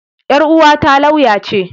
Yar uwata lauya ce.